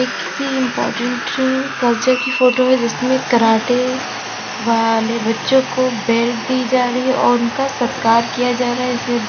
किसी important culture की photo है जिसमें कराटे वाले बच्चों को बेल्ट दी जा रही है और उनका सत्कार किया जा रहा है इसमें--